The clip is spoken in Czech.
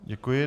Děkuji.